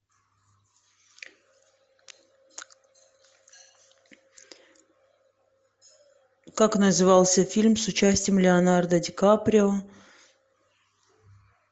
как назывался фильм с участием леонардо ди каприо